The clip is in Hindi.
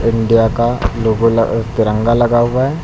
इंडिया का लोगो अह तिरंगा लगा हुआ है।